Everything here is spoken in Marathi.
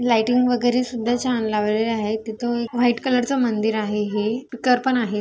लाईटिंग वगैरे सुद्धा छान लावलेले आहेत. तिथ एक व्हाइट कलरच मंदिर आहे हे. स्पीकर पण आहे.